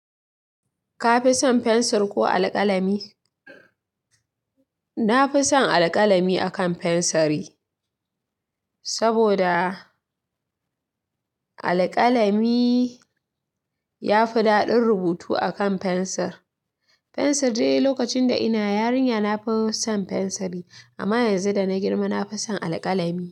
Ka fi son fensir ko alƙalami? Na fi son alƙalami akan fensiri, saboda alƙalami ya fi daɗin rubutu akan fensir. Fensir dai, lokacin da ina yarinya na fi son fensiri, amma yanzu da na girma na fi son alƙalami.